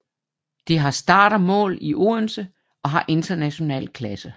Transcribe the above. Det har start og mål i Odense og har international klasse